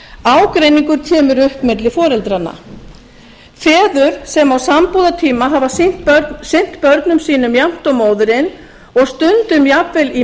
ágreiningur kemur upp milli foreldranna feður sem á sambúðartíma hafa sinnt börnum sínum jafnt og móðirin og stundum jafnvel í